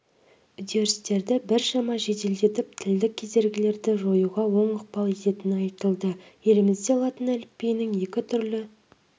үдерістерді біршама жеделдетіп тілдік кедергілерді жоюға оң ықпал ететіні айтылды елімізде латын әліпбиінің екі түрлі